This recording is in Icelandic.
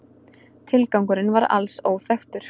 Tilgangurinn var alls óþekktur